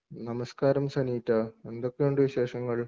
നമസ്കാരം സനീറ്റ. എന്തൊക്കെയുണ്ട് വിശേഷങ്ങൾ?